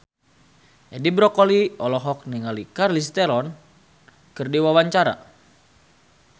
Edi Brokoli olohok ningali Charlize Theron keur diwawancara